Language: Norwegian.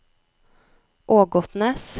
Ågotnes